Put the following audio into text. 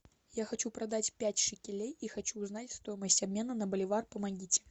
я хочу продать пять шекелей и хочу узнать стоимость обмена на боливар помогите